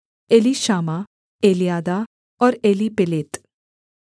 Elishama Eliada और एलीपेलेत